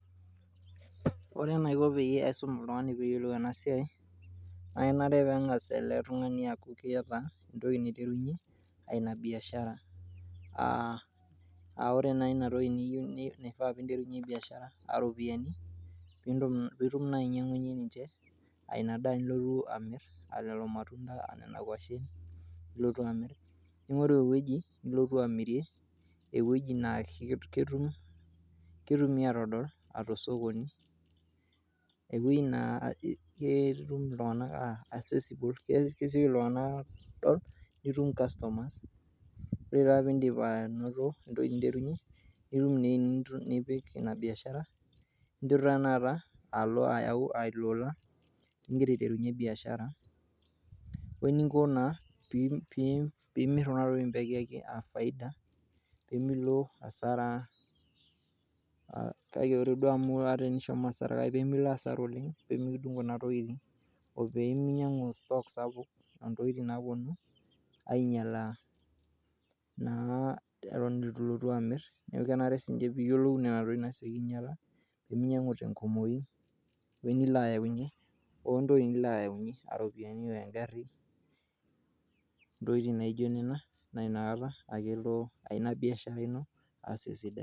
Ore eneiko peyie eisum ltungani peeyiolou enma siai naa kenare peeng'as ale tungani aaku keeta entoki naiterunye ina biashara aaore naa inatoki niyeu nifaa piinterunye biashara aa iropiyiani piitum naa ainyeng'unye ninche ina daa nilotu amirr aa ilo matunda anaa ina ngoshen piilotu naa amirr, ning'oru eweji nilotu amirie, eweji naa ketumi aatodol aate sokoni, eweji naa kesioki ltunganak aadol nitum customers ,ore taa piindim anoto entoki nintarunyr nitum naa enipik ina biashara ninteru na taat alo ayau ilo l'ulla ninteru aiterunye ina biashara oninko naa piimir kuna tokitin peekieki efaida piimilo hasara akke ore duo amu ata nishomo hasara kake pimilo hasara oleng pimikidung]o kuna tokitin, opiiminyang'u sutook sapuk aaltokitin naponu ainyala na eton etu ilotu amirr, naa kenare sii ninche piiyiolou nena tokitin nasioki ainyala pemiyau te nkumoii o eweji nilo ayaunye o entoki nilo ayaunye aaropiyiani aing'arri, ntoki naijo nena naa inakata elo biashara ino aaas esidai.